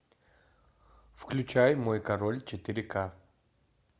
включай мой король четыре ка